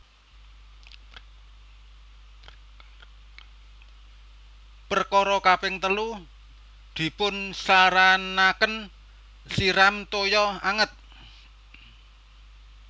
Perkara kaping telu dipunsaranaken siram toyo anget